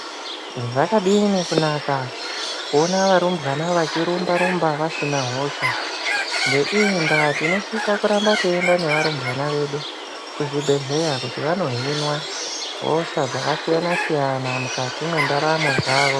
Zvakadini kunaka kuona varumbwana vachirumba rumba vasina hosha. Ngeiyi ndava tinosise kuramba tichienda ngevarumbwana vedu kuzvibhedhleya kuti vanohinwa hosha dzakasiyana siyana mukati mentaramo dzavo.